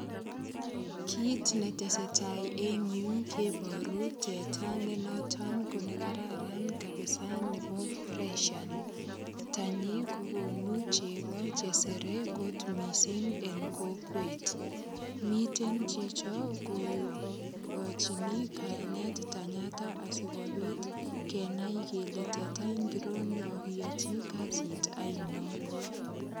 Kit netesetai en yuu keboru teta nenoton kokararan kabisa nebo fresian tanyi kokonu chego chesere kot missing en kokwet miten chichon ko kochini kainet tenyaton asikobit kenai kele teta ngiro nekokiyochi kasit oinon